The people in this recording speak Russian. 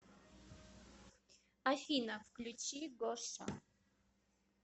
афина включи гоша